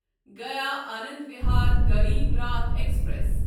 Gaya Anand Vihar Garib Rath express